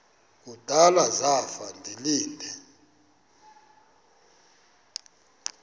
kudala zafa ndilinde